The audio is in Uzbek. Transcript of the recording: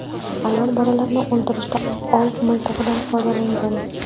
Ayol bolalarini o‘ldirishda ov miltig‘idan foydalangan.